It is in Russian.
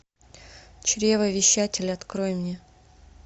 чревовещатель открой мне